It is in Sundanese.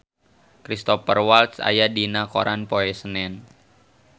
Cristhoper Waltz aya dina koran poe Senen